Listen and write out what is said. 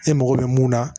E mago bɛ mun na